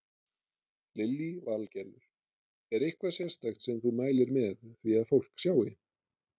Lillý Valgerður: Er eitthvað sérstakt sem þú mælir með því að fólk sjái?